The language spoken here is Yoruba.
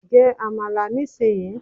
Jẹ Àmàlà ní sì yí!